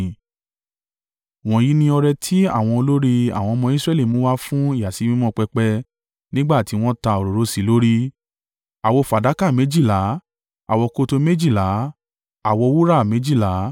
Wọ̀nyí ni ọrẹ tí àwọn olórí àwọn ọmọ Israẹli mú wá fún ìyàsímímọ́ pẹpẹ nígbà tí wọ́n ta òróró sí i lórí: àwo fàdákà méjìlá, àwokòtò méjìlá, àwo wúrà méjìlá.